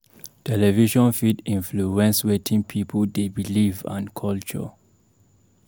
Television fit influence wetin people dey believe and culture.